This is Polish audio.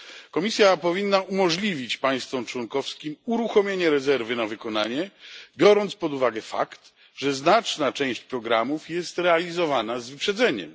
Komisja powinna umożliwić państwom członkowskim uruchomienie rezerwy na wykonanie, biorąc pod uwagę fakt, że znaczna część programów jest realizowana z wyprzedzeniem.